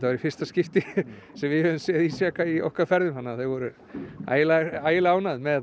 í fyrsta skipti sem við hefðum séð ísjaka í okkar ferðum þannig að þau voru ægilega ægilega ánægð með